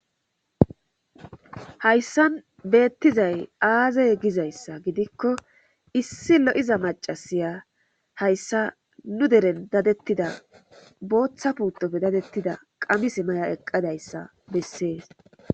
Hayssan beettizay aazey gizayssa gidikko issi lo7iza macasiya hayssa nu deren dadettida booththa puutopfe dadettida qamis maya eqqadayssa bessees